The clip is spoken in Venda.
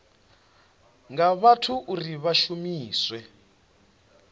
nga vhathu uri vha shumiswe